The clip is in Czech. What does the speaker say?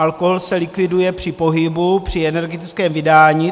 Alkohol se likviduje při pohybu, při energetickém vydání.